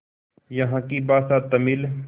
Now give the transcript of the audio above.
यहाँ की भाषा तमिल